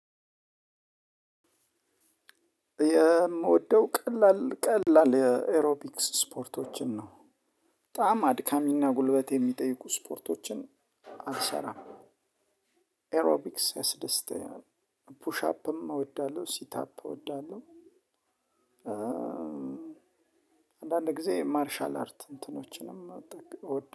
የምወደው ቀላል ቀላል የኤሮፒክስ ስፖርቶችን ነው። በጣም አድካሚና ጉልበት የሚጠይቁ ስፖርቶችን አልሰራም። ኤሮቢክስ ያስደስተኛል። ፑሽ አፕም እወዳለሁ ሲት አፕ እወዳለሁ። አንዳንድ ጊዜ ማርሻል አርት እንትኖችንም